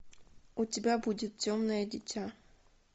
у тебя будет темное дитя